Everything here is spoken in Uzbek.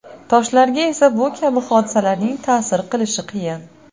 Toshlarga esa bu kabi hodisalarning ta’sir qilishi qiyin.